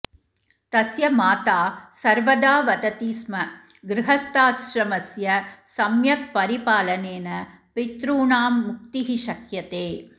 तस्य माता सर्वदा वदति स्म गृहस्थाश्रमस्य सम्यक् परिपालनेन पितॄणां मुक्तिः शक्यते